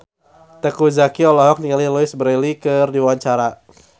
Teuku Zacky olohok ningali Louise Brealey keur diwawancara